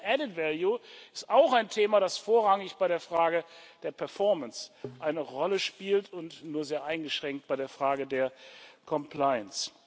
European added value ist auch ein Thema, das vorrangig bei der Frage der Performance eine Rolle spielt und nur sehr eingeschränkt bei der Frage der Compliance.